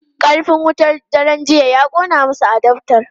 Karfin wutar daren jiya ya kona masa adaftar.